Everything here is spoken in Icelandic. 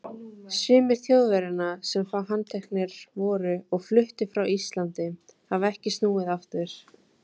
Sumir Þjóðverjanna, sem handteknir voru og fluttir frá Íslandi, hafa ekki snúið aftur.